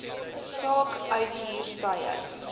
saak uithuur tye